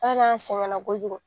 An yɛrɛ sɛngɛla ko jugu.